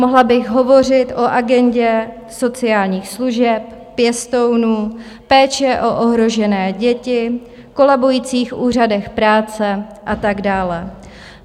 Mohla bych hovořit o agendě sociálních služeb, pěstounů, péče o ohrožené děti, kolabujících úřadech práce a tak dále.